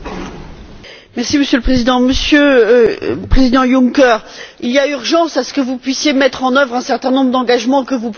Monsieur le Président, Monsieur le Président Juncker, il y urgence à ce que vous puissiez mettre en œuvre un certain nombre d'engagements que vous prenez devant nous.